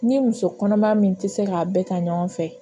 N'i ye muso kɔnɔma min tɛ se k'a bɛɛ ta ɲɔgɔn fɛ